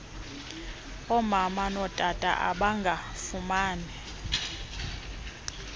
omama notata abangafumani